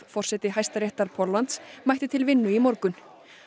forseti Hæstaréttar Póllands mætti til vinnu í morgun